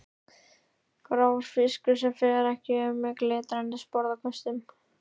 Grár fiskur sem fer ekki um með glitrandi sporðaköstum.